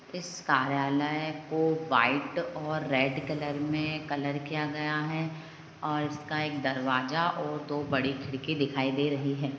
इस कार्यलय में को वाइट और रेड कलर में कलर में किया गया है और इसका एक दरावजा है और दो बड़ी खिडकी दिखाई दे रही है।